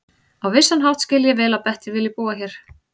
Á vissan hátt skil ég vel að Bettý vilji búa hér.